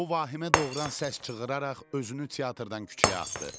O vahimə doğuran səs çığıraraq özünü teatrdan küçəyə atdı.